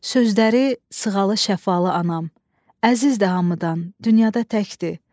Sözləri sığalı, şəfalı anam, əzizdir hamıdan, dünyada təkdir.